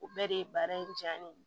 O bɛɛ de ye baara in diya ne ye